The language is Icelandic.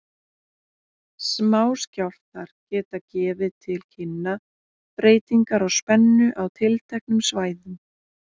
Smáskjálftar geta gefið til kynna breytingar á spennu á tilteknum svæðum.